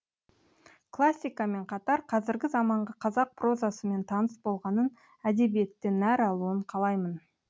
классика мен қатар қазіргі заманғы қазақ прозасымен таныс болғанын әдебиеттен нәр алуын қалаймын